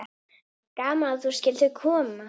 Gaman að þú skyldir koma.